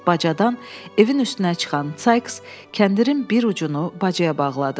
Bacadan evin üstünə çıxan Saiks kəndirin bir ucunu bacaya bağladı.